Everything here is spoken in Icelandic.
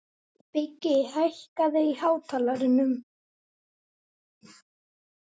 Biggi, hækkaðu í hátalaranum.